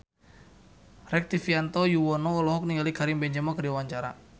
Rektivianto Yoewono olohok ningali Karim Benzema keur diwawancara